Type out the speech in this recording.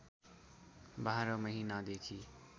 बाह्र महिनादेखि